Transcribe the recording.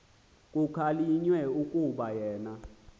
kukhalinywe kukuba yena